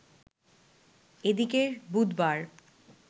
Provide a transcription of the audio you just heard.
এদিকে বুধবার